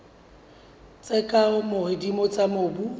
tse ka hodimo tsa mobu